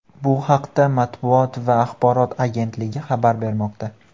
Bu haqda Matbuot va axborot agentligi xabar bermoqda .